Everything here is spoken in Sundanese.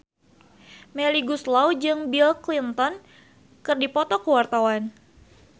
Melly Goeslaw jeung Bill Clinton keur dipoto ku wartawan